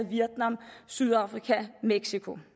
vietnam sydafrika og mexico